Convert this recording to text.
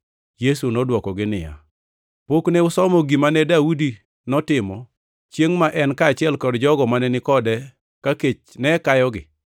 Yesu nodwokogi niya, “Pok ne usomo gima Daudi notimo chiengʼ ma en kaachiel gi jogo mane ni kode ka kech ne kayogi?